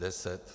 Deset.